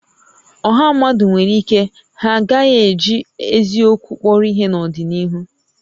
Ọ̀hà mmadụ nwèrè íké ha a gaghị eji eziokwu kpọrọ ihé n'ọdịnihu